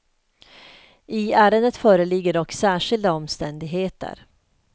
I ärendet föreligger dock särskilda omständigheter.